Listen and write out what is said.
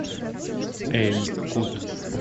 эль кут